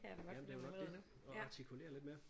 Jamen det er jo nok det og artikulere lidt mere